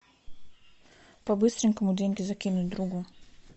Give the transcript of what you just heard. по быстренькому деньги закинуть другу